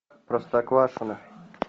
простоквашино